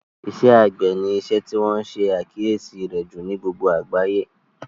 Iṣẹ́ àgbẹ̀ ni isẹ́ tí wọ́n ṣe àkíyèsí rẹ̀ jù ní gbogbo àgbáyé